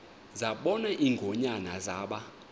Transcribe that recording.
zabona ingonyama zaba